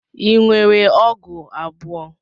Ị nwere ọgụ abụọ?